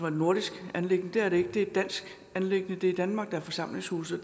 et nordisk anliggende men det er det ikke det er et dansk anliggende det er i danmark der er forsamlingshuse